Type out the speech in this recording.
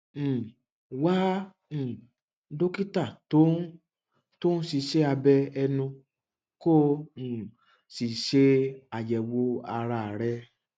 um wá um dókítà tó ń tó ń ṣiṣẹ abẹ ẹnu kó o um sì ṣe àyẹwò ara rẹ